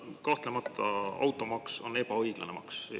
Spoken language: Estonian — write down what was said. Kahtlemata, automaks on ebaõiglane maks.